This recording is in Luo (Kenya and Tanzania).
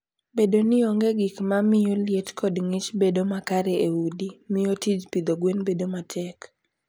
Bedo ni onge gik ma miyo liet kod ng'ich bedo makare e udi, miyo tij pidho gwen bedo matek.